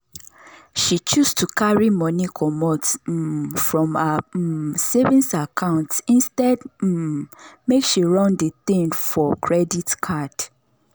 she choose to carry money comot um from her um savings account instead um make she run the thing for credit card.